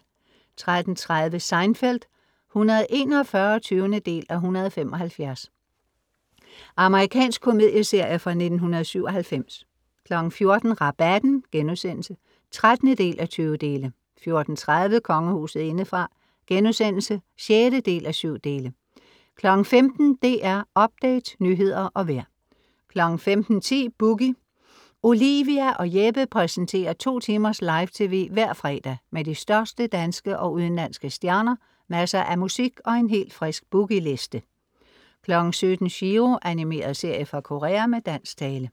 13:30 Seinfeld (141:175) Amerikansk komedieserie fra 1997 14:00 Rabatten* (13:20) 14:30 Kongehuset indefra* (6:7) 15:00 DR Update, nyheder og vejr 15:10 Boogie Olivia og Jeppe præsenterer to timers live tv hver fredag med de største danske, og udenlandske stjerner, masser af musik og en helt frisk Boogie Liste 17:00 Chiro. Animeret serie fra Korea med dansk tale